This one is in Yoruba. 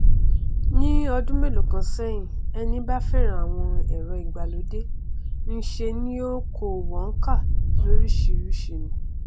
ní ọdún mélòókan sẹhìn ẹni bá fẹràn àwọn ẹrọ ìgbàlódé nṣe ni ó ń kó wọn ká lóríṣìíríṣìí ni